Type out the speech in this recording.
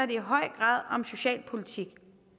i høj grad om socialpolitik